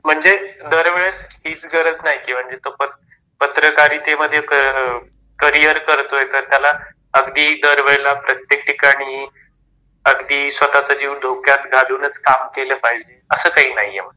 म्हणजे दर वेळेस ती गरज नाही पत्रकारिते मध्ये करिअर करतोय तर त्याला अगदी दरवेळेला प्रत्येक ठिकाणी अगदी स्वतःचा जीव धोक्यात घालूनच काम केल पाहिजे, अस काही नाही आहे.